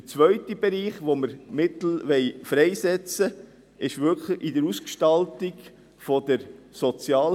Der zweite Bereich, für den wir Mittel freisetzen wollen, ist in der Sozialhilfe.